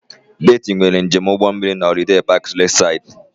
Betty nwere njem ụgbọ mmiri na Holiday Parks Lakeside